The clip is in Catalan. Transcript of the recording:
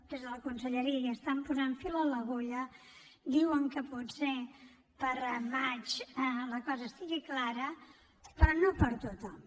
des de la conselleria hi estan posant fil a l’agulla diuen que potser al maig la cosa estigui clara però no per a tothom